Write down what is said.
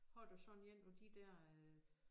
Har du sådan én hvor de der øh